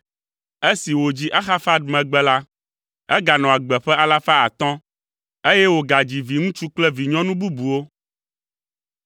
Esi wòdzi Arfaxad megbe la, eganɔ agbe ƒe alafa atɔ̃ (500), eye wògadzi viŋutsu kple vinyɔnu bubuwo.